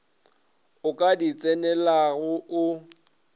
o ka di tsenelago o